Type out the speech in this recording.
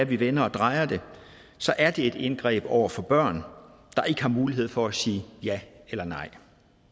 vi vender og drejer det så er det et indgreb over for børn der ikke har mulighed for at sige ja eller nej